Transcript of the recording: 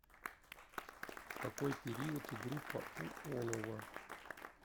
какой период и группа у олово